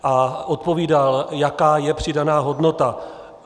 A odpovídal, jaká je přidaná hodnota.